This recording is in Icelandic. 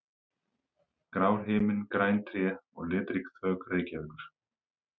Grár himinn, græn tré og litrík þök Reykjavíkur.